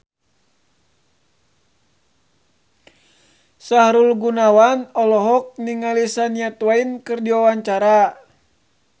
Sahrul Gunawan olohok ningali Shania Twain keur diwawancara